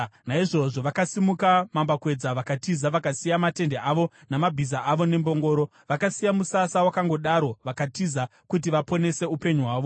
Naizvozvo vakasimuka mambakwedza vakatiza, vakasiya matende avo namabhiza avo nembongoro. Vakasiya musasa wakangodaro vakatiza kuti vaponese upenyu hwavo.